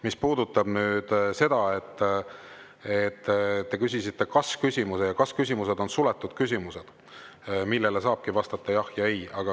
Mis puudutab seda, et te küsisite kas-küsimuse, siis kas-küsimused on suletud küsimused, millele saabki vastata "jah" või "ei".